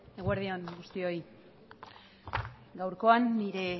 eguerdi on guztioi gaurkoan nire